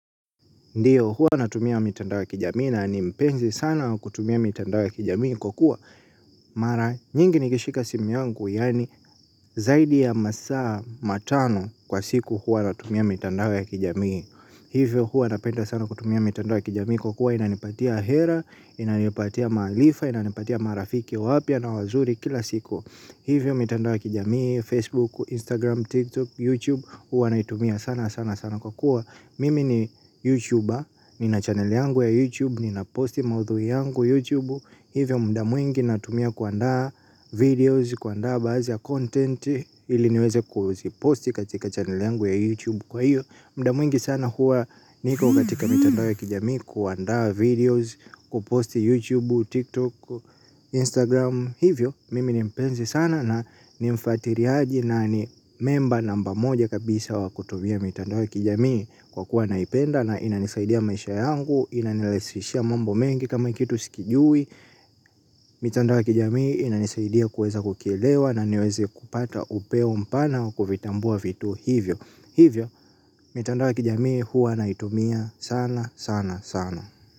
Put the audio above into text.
Ndiyo huwa natumia mitandao ya kijamii na ni mpenzi sana wa kutumia mitandao ya kijamii kwa kuwa mara nyingi nikishika simu yangu yaani zaidi ya masaa matano kwa siku huwa natumia mitandao ya kijamii. Hivyo huwa napenda sana kutumia mitandao ya kijamii kwa kua inanipatia hera, inanipatia maarifa, inanipatia marafiki wapya na wazuri kila siku. Hivyo mitandao ya kijamii, Facebook, Instagram, TikTok, YouTube huwa naitumia sana sana sana kwa kuwa mimi ni YouTuber, nina channel yangu ya YouTube, nina posti maudhui yangu YouTube. Hivyo mda mwingi natumia kuandaa videos, kuandaa baadhi ya content ili niweze kuziposti katika channel yangu ya YouTube. Kwa hiyo, mda mwingi sana huwa niko katika mitandao ya kijamii kuandaa videos, kuposti YouTube, TikTok, Instagram. Hivyo, mimi ni mpenzi sana na nimfatiliaji na ni member namba moja kabisa wa kutumia mitandao ya kijami. Kwa kuwa naipenda na inanisaidia maisha yangu. Inanirahishia mambo mengi kama hii kitu sikijui. Mitandao ya kijamii inanisaidia kuweza kukielewa na niweze kupata upeo mpana wa kuvitambua vitu hivyo. Hivyo, mitandao ya kijamii huwa naitumia sana sana sana.